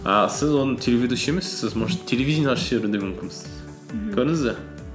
і сіз оны телеведущий емес сіз может телевидение ашып жіберу де мүмкінсіз мхм көрдіңіз бе